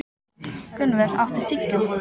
Gunnvör, áttu tyggjó?